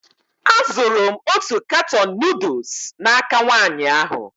Azụrụ m otu katọn nuduls n'aka nwaanyị ahụ.